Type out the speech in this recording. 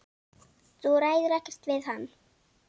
Þú ræður ekkert við hann.